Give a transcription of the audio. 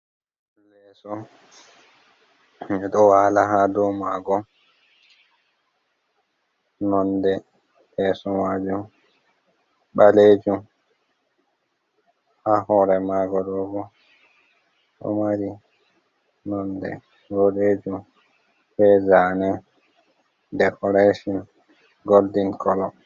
Leeso ɓe ɗo waala ha dou maago, nonde leeso majum ɓalejum ha hoore maago ɗo bo ɗo maari nonde boɗeejum bei zaane dekoreshon goldin kolo.